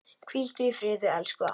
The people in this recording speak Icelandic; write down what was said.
Hvíldu í friði, elsku afi.